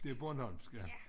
Det bornholmsk ja